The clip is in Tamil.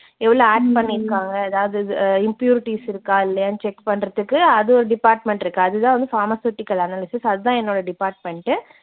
எவ்ளோ add பண்ணியிருக்காங்க, ஏதாவது அஹ் impurities இருக்கா இல்லையான்னு check பண்றதுக்கு அது ஒரு department இருக்கு. அது தான் வந்து pharmaceutical analysis. அது தான் என்னோட department.